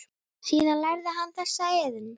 Síðan lærði hann þessa iðn.